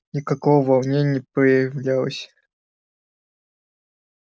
никакого волнения не проявляла